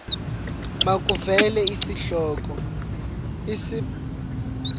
makuvele isihloko isib